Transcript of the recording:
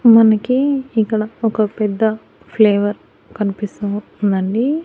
మనకి ఇక్కడ ఒక పెద్ద ఫ్లేవర్ కనిపిస్తూ ఉందండి.